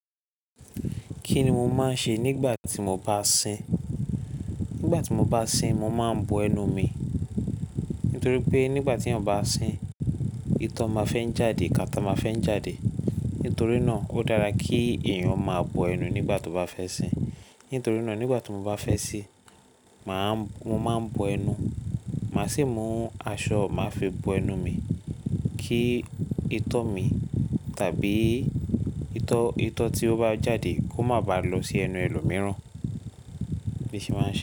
Kí ni mo máa ń ṣe nígbà tí mo bá ń sìn? Nígbà tí mo bá ń sìn, mo máa ń bo ẹnu mi. Nítorí pé nígbà tí eeyàn bá sìn, itọ́ máa fẹ́ ń jáde, kàtá máa fẹ́ ń jáde. Nítorí náà ó dára kí eeyàn máa bo ẹnu nígbà tó bá fẹ́ sìn. Nítorí náà nígbà tí mo bá fẹ́ sìn, mà á, mo máa ń bo ẹnu. Mà á sì mú aṣọ máa fi bo ẹnu mi kí itọ́ mi tàbí itọ́, itọ́ tí ó bá jáde kó má ba lọ sí ẹnu ẹlòmíràn. Bii n se máa ń ṣe.